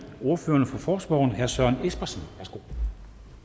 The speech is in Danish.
ordføreren for forespørgerne herre søren espersen værsgo